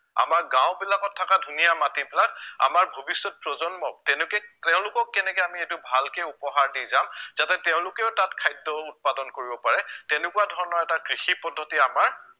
আমাৰ গাওঁবিলাকত থকা ধুনীয়া মাটিবিলাক আমাৰ ভৱিষ্য়ত প্ৰজন্মক তেনেকে তেওঁলোকক কেনেকে আমি এইটো ভালকে উপহাৰ দি যাম যাতে তেওঁলোকেও তাত খাদ্য় উৎপাদন কৰিব পাৰে তেনেকুৱা ধৰণৰ এটা কৃষি পদ্ধতি আমাৰ